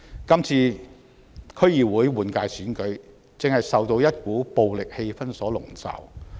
今次區議會換屆選舉，正受到一股暴力氣氛籠罩。